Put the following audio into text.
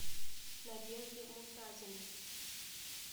надежде муртазиной